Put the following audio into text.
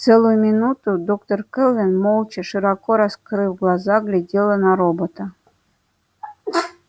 целую минуту доктор кэлвин молча широко раскрыв глаза глядела на робота